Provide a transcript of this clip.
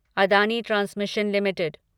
Adani transmission limited